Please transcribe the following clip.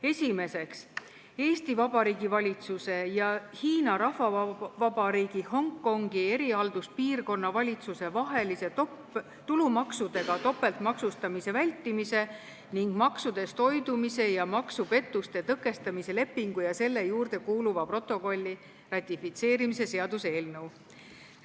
Esiteks, Eesti Vabariigi valitsuse ja Hiina Rahvavabariigi Hongkongi erihalduspiirkonna valitsuse vahelise tulumaksudega topeltmaksustamise vältimise ning maksudest hoidumise ja maksupettuste tõkestamise lepingu ja selle juurde kuuluva protokolli ratifitseerimise seaduse eelnõu.